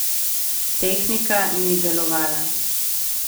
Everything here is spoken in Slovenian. Tehnika ni delovala.